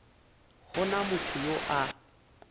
go na motho yo a